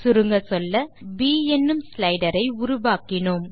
சுருங்கச்சொல்ல நாம் ப் என்னும் ஸ்லைடர் ஐ உருவாக்கினோம்